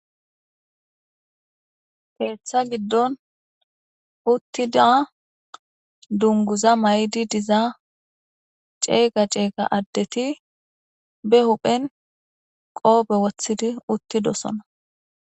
Keeththa giddon uttida dunguza may7di dizaa ceega ceega addeti be huphen qoobe wothidi uttidosona.